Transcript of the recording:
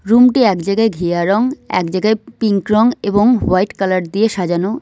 রুমটি একজায়গায় ঘিয়া রং একজায়গায় পিংক রং এবং হোয়াইট কালার দিয়ে সাজানো।